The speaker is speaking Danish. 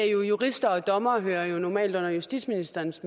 jurister og dommere hører jo normalt under justitsministeriets